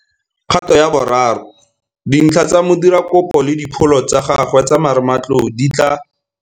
Kgato ya bo 3. Dintlha tsa modirakopo le dipholo tsa gagwe tsa marematlou di tla.